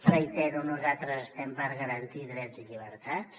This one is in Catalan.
ho reitero nosaltres estem per garantir drets i llibertats